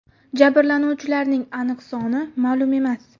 Jabrlanuvchilarning aniq soni ma’lum emas.